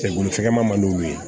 Cɛ bolofɛmadu ye